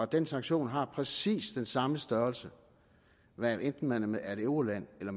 den sanktion har præcis den samme størrelse hvad enten man er et euroland eller